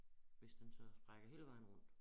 Hvis den så har sprækker hele vejen rundt